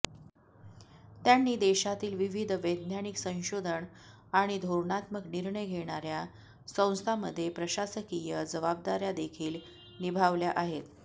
त्यांनी देशातील विविध वैज्ञानिक संशोधन आणि धोरणात्मक निर्णय घेणाऱया संस्थांमध्ये प्रशासकीय जबाबदाऱयादेखील निभावल्या आहेत